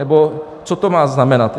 Nebo co to má znamenat?